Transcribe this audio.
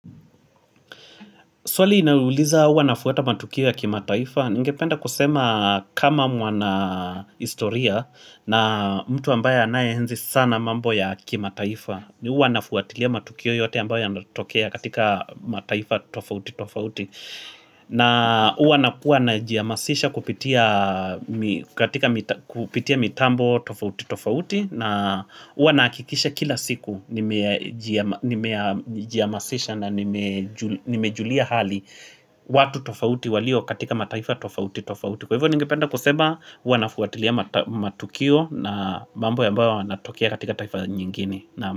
Swali inauliza huwa nafuwata matukio ya kimataifa? Ningependa kusema kama mwanahistoria na mtu ambaye anayehenzi sana mambo ya kimataifa. Uwa na fuwatilia matukio yote ambayo yanatokea katika mataifa tofauti tofauti. Na uwa na kuwa na jihamasisha kupitia mitambo tofauti tofauti. Na huwa nahakikisha kila siku Nimejihamasisha na nimejulia hali watu tofauti walio katika mataifa tofauti tofauti Kwa hivyo ningependa kusema huwa nafuatilia matukio na mambo ambayo yanatokea katika taifa nyingine naam.